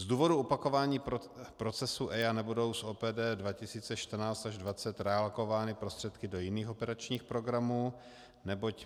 Z důvodu opakování procesu EIA nebudou z OPD 2014 až 2020 realokovány prostředky do jiných operačních programů, neboť